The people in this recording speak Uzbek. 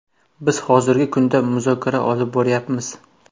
Biz hozirgi kunda muzokara olib boryapmiz.